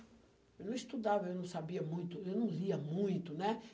Eu não estudava, eu não sabia muito, eu não lia muito, né?